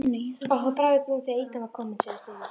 Okkur brá í brún þegar ýtan var komin segir Steini.